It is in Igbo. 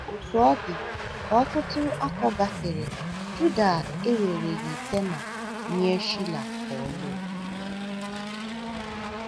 Otú ọ dị, ka ọtụtụ afọ gafere, Juda ewereghị Tema nye Shila ka ọ lụọ.